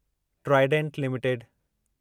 Trident limited